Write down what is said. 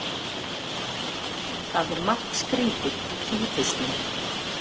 Það er margt skrýtið í kýrhausnum.